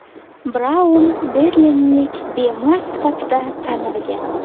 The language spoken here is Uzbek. Braun berlinlik bemor sifatida tanilgan.